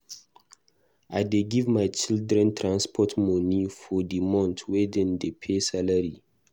I dey give my children transport moni for di month wen dem pay salary.